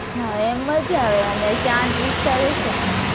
હમ એમ મજા આવે અને શાંત વિસ્તાર હશે ને?